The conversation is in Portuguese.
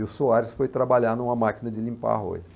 E o Soares foi trabalhar numa máquina de limpar arroz.